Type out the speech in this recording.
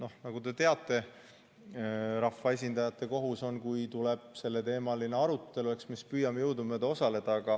Aga nagu te teate, rahvaesindajate kohus on, kui tuleb selleteemaline arutelu, eks me siis püüame jõudumööda osaleda.